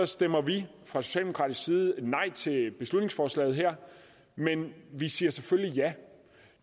stemmer vi fra socialdemokratisk side nej til beslutningsforslaget her men vi siger selvfølgelig ja